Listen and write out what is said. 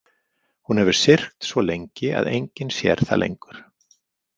Hún hefur syrgt svo lengi að enginn sér það lengur.